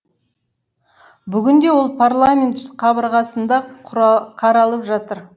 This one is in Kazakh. бүгінде ол парламент қабырғасында қаралып жатыр